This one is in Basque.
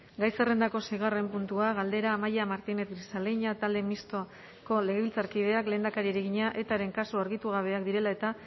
gai zerrendako seigarren puntua galdera amaia martinez grisaleña talde mistoko legebiltzarkideak lehendakariari egina etaren kasu argitu gabeak direla eta